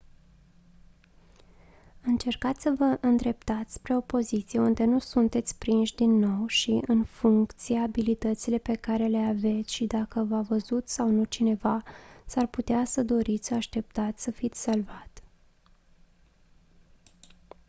încercați să vă îndreptați spre o poziție unde nu sunteți prinși din nou și în funcție abilitățile pe care le aveți și dacă v-a văzut sau nu cineva s-ar putea să doriți să așteptați să fiți salvat